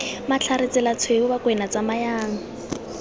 matlhare tsela tshweu bakwena tsamayang